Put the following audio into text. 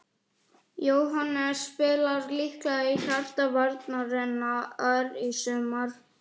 Jóhannes spilar líklega í hjarta varnarinnar í sumar.